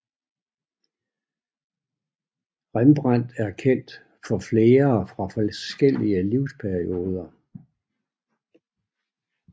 Rembrandt er kendt for flere fra forskellige livsperioder